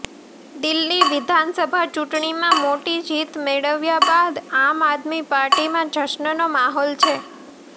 દિલ્લી વિધાનસભા ચૂંટણીમાં મોટી જીત મેળવ્યા બાદ આમ આદમી પાર્ટીમાં જશ્નનો માહોલ છે